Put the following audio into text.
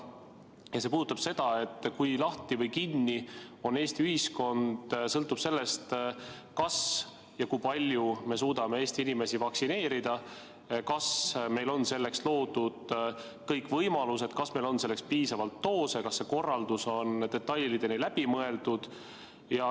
Küsimus puudutab seda, et see, kui lahti või kinni on Eesti ühiskond, sõltub sellest, kas ja kui palju me suudame Eesti inimesi vaktsineerida, kas meil on selleks loodud kõik võimalused, kas meil on selleks piisavalt doose, kas see korraldus on detailideni läbi mõeldud.